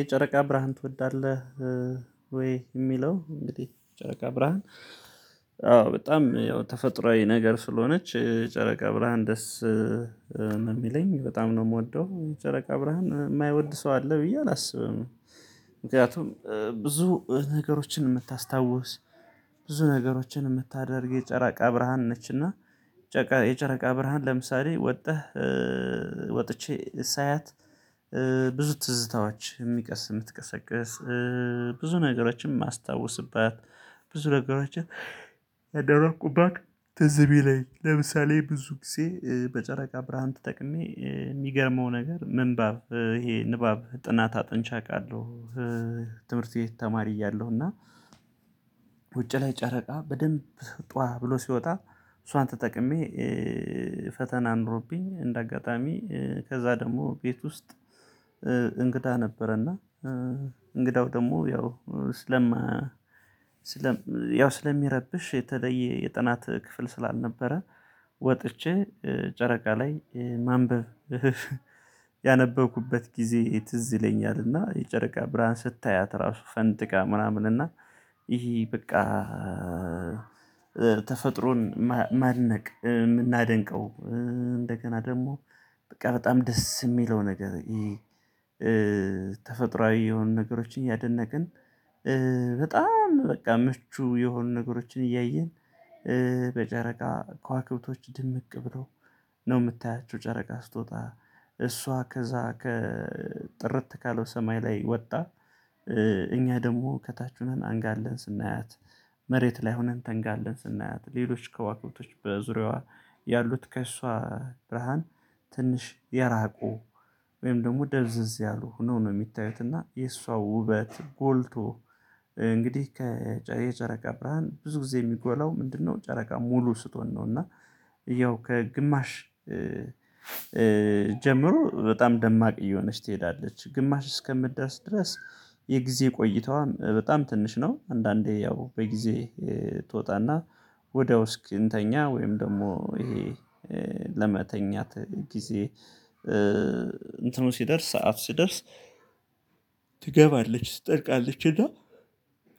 የጨረቃ ብርሃን ትወዳለህ? ወይ የሚለው እንግዲህ ጨረቃ ብርሃን አዎ በጣም ያው ተፈጥሮአዊ ነገር ስለሆነች ጨረቃ ብርሃን ደስ ነው የሚለኝ በጣም ነው የምወደው ጨረቃ ብርሃን የማይወድ ሰው አለ ብዬ አላስብም። ምክንያቱም ብዙ ነገሮችን የምታስታውስ ብዙ ነገሮችን የምታደርግ የጨራቃ ብርሃን ነችና። የጨረቃ ብርሃን ለምሳሌ ወጥተህ ወጥቼ ሳያት ብዙ ትዝታዎች የሚቀስ የምትቀሰቅስ ብዙ ነገሮችን የማስታውስባት ብዙ ነገሮችን ያደረኩባት ትዝ የሚለኝ ለምሳሌ ብዙ ጊዜ በጨረቃ ብርሃን ተጠቅሜ የሚገርመው ነገር ምንባብ ይሄ ንባብ ጥናት አጥንቼ አውቃለሁ። ትምህርት ቤት ተማሪ እያለሁ እና ውጪ ላይ ጨረቃ በደንብ ጧ ብሎ ሲወጣ እሷን ተጠቅሜ ፈተና አኖሮብኝ እንደ አጋጣሚ ከዛ ደግሞ ቤት ውስጥ እንግዳ ነበረና። እንግዳው ደግሞ ያው ስለማ ስለም ያው ስለሚረብሽ የተለየ የጥናት ክፍል ስላልነበረ ወጥቼ ጨረቃ ላይ ማንበብ። ያነበብኩበት ጊዜ ትዝ ይለኛልና የጨረቃ ብርሃን ስታያት ራሱ ፈንድቃ ምናምን እና ይሄ በቃ። ተፈጥሮን ማድነቅ የምናደንቀው እንደገና ደግሞ በቃ በጣም ደስ የሚለው ነገር ይሄ። ተፈጥሮአዊ የሆኑ ነገሮችን እያደነቅን በጣም በቃ ምቹ የሆኑ ነገሮችን እያየን በጨረቃ ከዋክብቶች ድምቅ ብለው ነው የምታያቸው ጨረቃ ስትወጣ እሷ ከዛ ከጥርት ካለው ሰማይ ላይ ወታ። ደግሞ ከታች ሆነን አንጋለን ስናያት መሬት ላይ ሆነን ተንጋለን ስናያት ሌሎች ከዋክብቶች በዙሪያዋ ያሉት ከእሷ ብርሃን ትንሽ የራቁ ወይም ደግሞ ደብዘዝ ያሉ ሁነው ነው የሚታዩት እና የእሷ ውበት ጎልቶ እንግዲህ ከየጨረቃ ብርሃን ብዙ ጊዜ የሚጎላው ምንድነው ጨረቃ ሙሉ ስትሆን ነው። እና ያው ከግማሽ ጀምሮ በጣም ደማቅ እየሆነች ትሄዳለች ግማሽ እስከምትደርስ ድረስ የጊዜ ቆይታዋ በጣም ትንሽ ነው። አንዳንዴ ያው በጊዜ ትወጣና ወዲያው እስክንተኛ ወይም ደግሞ ይሄ ለመተኛት ጊዜ እንትኑን ሲደርስ ሰዓት ሲደርስ ትገባለች ትጠልቃለች። እና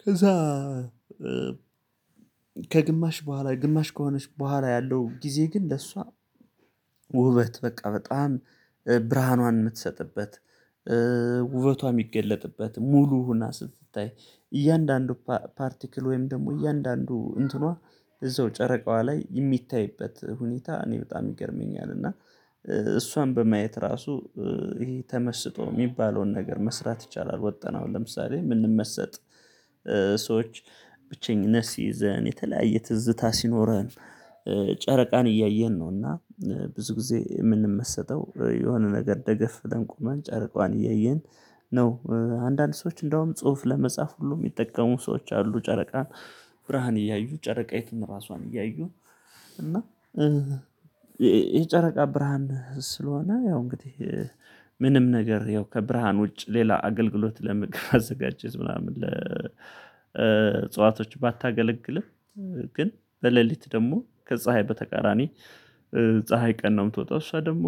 ከዛ ከግማሽ በኋላ ግማሽ ከሆነች በኋላ ያለው ጊዜ ግን ለሷ ውበት በቃ በጣም ብርሃኗን የምትሰጥበት ውበቷ የሚገለጥበት ሙሉ ሁና ስትታይ እያንዳንዱ ፓፓርቲክል ወይም ደግሞ እያንዳንዱ እንትኗ እዛው ጨረቃዋ ላይ የሚታይበት ሁኔታ እኔ በጣም ይገርመኛል እና እሷን በማየት ራሱ ይሄ ተመስጦ የሚባለውን ነገር መስራት ይቻላል። ወጥተንአሁን ለምሳሌ የምንመሰጥ ሰዎች ብቸኝነት ሲይዘን የተለያየ ትዝታ ሲኖረን ጨረቃን እያየን ነው እና ብዙ ጊዜ የምንመሰጠው የሆነ ነገር ደገፍ ብለን ቁመን ጨረቃዋን እያየን ነው። አንዳንድ ሰዎች እንደውም ጽሁፍ ለመጻፍ ሁሉ የሚጠቀሙ ሰዎች አሉ ጨረቃን ብርሃን እያዩ ጨረቃይቱን ራሷን እያዩ እና የ የጨረቃ ብርሃን ስለሆነ ያው እንግዲህ ምንም ነገር ያው ከብርሃን ውጭ ሌላ አገልግሎት ለምግብ አዘጋጀት ምናምን ለ እጽዋቶች ባታገለግልም ግን በሌሊት ደግሞ ከፀሀይ በተቃራኒ ፀሀይ ቀን ነው። የምትወጣው እሷ ደግሞ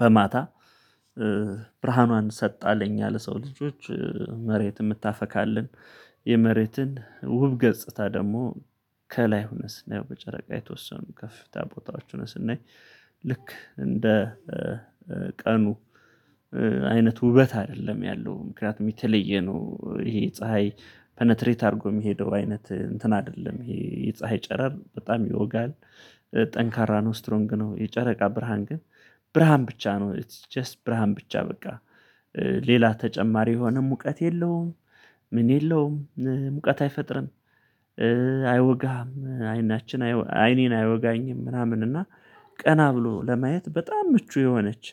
በማታ ብርሃኗን ሰጥታ ለኛ ለሰው ልጆች መሬት የምታፈካልን የመሬትን ውብ ገጽታ ደግሞ ከላይ ሁነን ስናየው በጨረቃ የተወሰኑ ከፍ ታቦታዎች ሆነን ስናይ ልክ እንደ ቀኑ አይነት ውበት አይደለም ያለው ምክንያቱም የተለየ ነው። ይሄ ፀሀይ ፕነትሬት አድርጎ የሚሄደው አይነት እንትን አይደለም ይሄ ፀሀይ ጨረር በጣም ይወጋል ጠንካራ ነው ስትሮንግ ነው የጨረቃ ብርሃን ግን ብርሃን ብቻ ነው ኢትስ ጀስት ብርሃን ብቻ በቃ ሌላ ተጨማሪ የሆነ ሙቀት የለውም። ምን የለውም ሙቀት አይፈጥርም አይወጋም አይናችን አይኔን አይወጋኝም ምናምን እና ቀና ብሎ ለማየት በጣም ምቹ የሆነች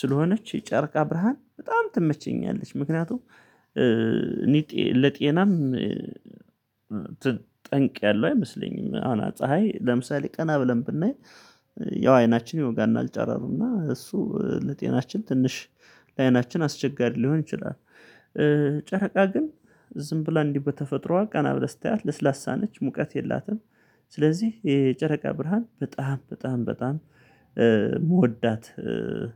ስለሆነች የጨርቃ ብርሃን በጣም ትመቸኛለች። ምክንያቱም እኔ ለጤናም ት ጠንቅያለው አይመስለኝም አሁን ፀሀይ ለምሳሌ ቀና ብለን ብናይ ያው አይናችን ይወጋናል እና ጨረሩ እና እሱ ለጤናችን ትንሽ ለአይናችን አስቸጋሪ ሊሆን ይችላል። ጨረቃ ግን ዝም ብላ እንዲህ በተፈጥሮዋ ቀና ብለህ ስታያት ለስላሳ ነች ሙቀት የላትም። ስለዚህ የጨረቃ ብርሃን በጣም በጣም በጣም ምወዳት።